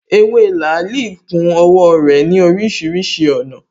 Ewé làálī ku owó rè ní orísirísi ònà